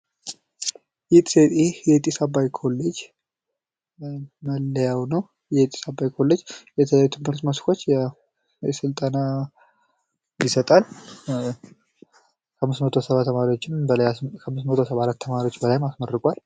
ይህ የጢስ አባይ ኮሌጅ መለያው ነው። የጢስ አባይ የትምህርት መስኮች ስልጠና ይሰጣል። አምስት መቶ ሰባ ተማሪዎች በላይ አስመርቋል።